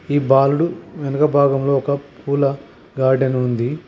ఈ బాలుడు వెనక భాగంలో ఒక పూల గార్డెన్ ఉంది.